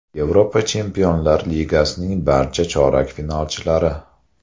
Yevropa Chempionlar Ligasining barcha chorak finalchilari.